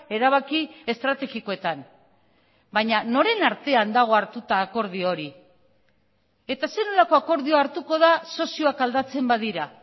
erabaki estrategikoetan baina noren artean dago hartuta akordio hori eta zer nolako akordioa hartuko da sozioak aldatzen badira